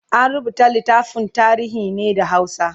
an rubuta littafin tarihin ne da hausa